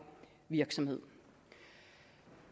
virksomhed